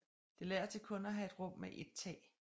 Det lader til kun at have et rum med et tag